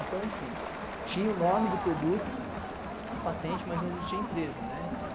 Então, enfim, tinha o nome do produto, a patente, mas não existia empresa, né?